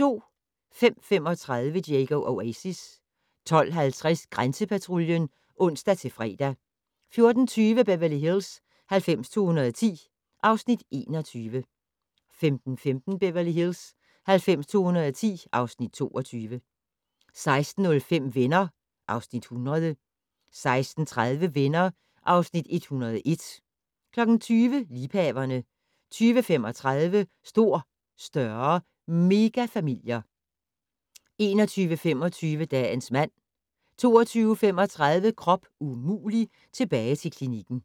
05:35: Diego Oasis 12:50: Grænsepatruljen (ons-fre) 14:20: Beverly Hills 90210 (Afs. 21) 15:15: Beverly Hills 90210 (Afs. 22) 16:05: Venner (Afs. 100) 16:30: Venner (Afs. 101) 20:00: Liebhaverne 20:35: Stor, større - megafamilier 21:25: Dagens mand 22:35: Krop umulig - tilbage til klinikken